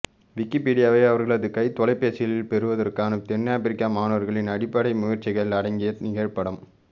விக்கிபீடியாவை அவர்களது கைத்தொலைபேசிகளில் பெறுவதற்கான தென்னாபிரிக்க மாணவர்களின் அடிப்படை முயற்சிகள் அடங்கிய நிகழ்படம்